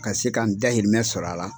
Ka se ka n dayirimɛ sɔrɔ a la.